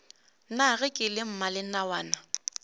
na ge ke le mmalenawana